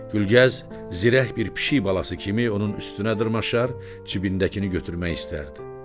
Gülgəz zirək bir pişik balası kimi onun üstünə dırmaşar, cibindəkini götürmək istərdi.